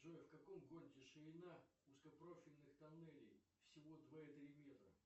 джой в каком городе ширина узкопрофильных тоннелей всего два и три метра